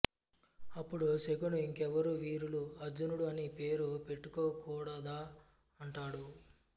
అప్పుడు శకుని ఇంకెవరూ వీరులు అర్జునుడు అని పేరు పెట్టుకో గూడాదా అంటాడు